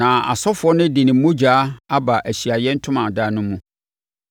Na ɔsɔfoɔ no de ne mogya aba Ahyiaeɛ Ntomadan no mu,